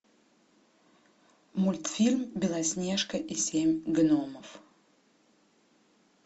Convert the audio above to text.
мультфильм белоснежка и семь гномов